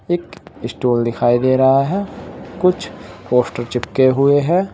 एक स्टूल दिखाई दे रहा है कुछ पोस्टर चिपके हुए हैं।